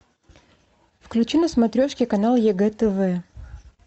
включи на смотрешке канал егэ тв